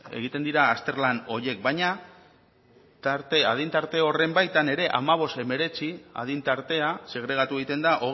egiten dira azterlan horiek baina adin tarte horren baitan ere hamabost hemeretzi adin tartea segregatu egiten da